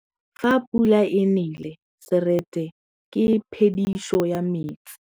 Fa pula e nelê serêtsê ke phêdisô ya metsi.